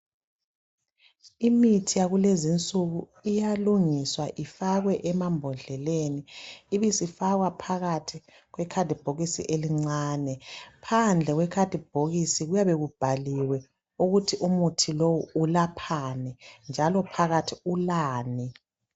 Imithi yakukezinsuku iyalungiswa ifakwe emambhododleleni , ibe sifakwa phakathi kwekhathibhokisi elincane , phandle kwekhathibhokisi kuyabe kubhaliwe ukuthi umuthi lowo ulaphani njalo phakathi ulani